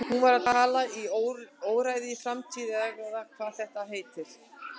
Hún var að tala í óræðri framtíð eða hvað þetta heitir.